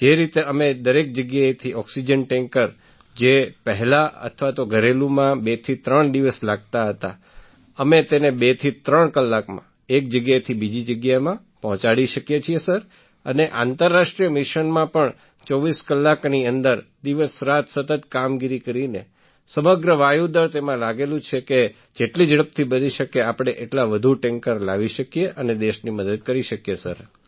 જે રીતે અમે દરેક જગ્યાએથી ઑક્સિજન ટૅન્કર જે પહેલાં અથવા ઘરેલુમાં બેથી ત્રણ દિવસ લાગતા હતા અમે તેને ૨થી ૩ કલાકમાં એક જગ્યાએથી બીજી જગ્યાએ પહોંચાડી શકીએ છીએ સર અને આંતરરાષ્ટ્રીય મિશનમાં પણ ૨૪ કલાકની અંદર દિવસરાત સતત કામગીરી કરીને સમગ્ર વાયુ દળ તેમાં લાગેલું છે કે જેટલી ઝડપથી બની શકે આપણે એટલા વધુ ટૅન્કર લાવી શકીએ અને દેશની મદદ કરી શકીએ સર